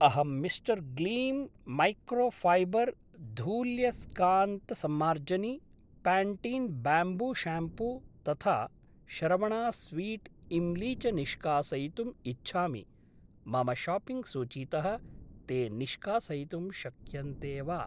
अहं mister Gleam microfiber धूल्ययस्कान्तसम्मार्जनी, Pantene bamboo shampoo तथा शरवणास् स्वीट् इम्ली च निष्कासयितुम् इच्छामि, मम शाप्पिङ्ग् सूचीतः ते निष्कासयितुं शक्यन्ते वा?